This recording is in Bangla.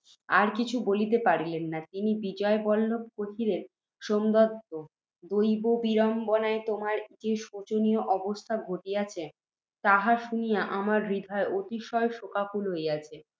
আর কিছুই বলিতে পারিলেন না। তখন বিজয়বল্লভ কহিলেন, সোমদত্ত! দৈববিড়ম্বনায় তোমার যে শোচনীয় অবস্থা ঘটিয়াছে, তাহা শুনিয়া আমার হৃদয় অতিশয় শোকাকুল হইতেছে